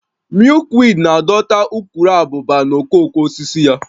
Milkweed na-adọta ukuruabụba na okooko osisi ya